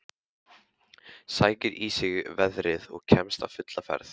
Sækir í sig veðrið og kemst á fulla ferð.